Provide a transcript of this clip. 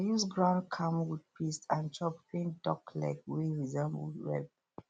i use ground camwood paste and chalk paint duck leg wey resemble web